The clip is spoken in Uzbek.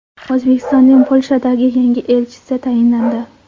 O‘zbekistonning Polshadagi yangi elchisi tayinlandi.